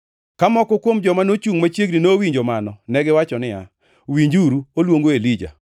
Ka moko kuom joma nochungʼ machiegni nowinjo mano, negiwacho niya, “Winjuru, oluongo Elija.”